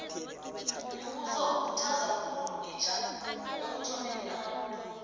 umbuso ukhuthaza khulu itja ekuthomeni amabubulo